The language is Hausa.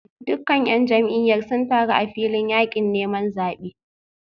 Dukkan ‘yan jam’iyyar sun taru a filin yakin neman zabe